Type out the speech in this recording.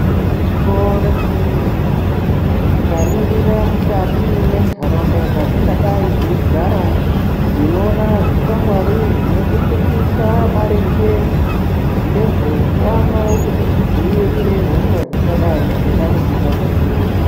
Igwinyiso remene-mene, tikaringira mukati mwentaraunda dzatingadai teigara, tinoona zvikwangwari, zvinotifundisa maringe, ngezveutano kuti tidzivirire hosha dzingadai dzeida kutimomotera.